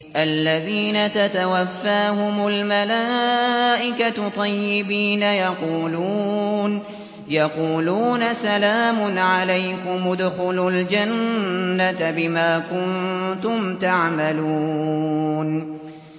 الَّذِينَ تَتَوَفَّاهُمُ الْمَلَائِكَةُ طَيِّبِينَ ۙ يَقُولُونَ سَلَامٌ عَلَيْكُمُ ادْخُلُوا الْجَنَّةَ بِمَا كُنتُمْ تَعْمَلُونَ